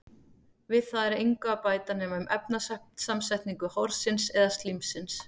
Við það er engu að bæta nema um efnasamsetningu horsins eða slímsins.